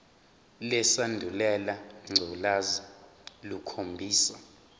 lesandulela ngculazi lukhombisa